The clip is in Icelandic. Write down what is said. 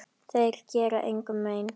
Þeir gera engum mein.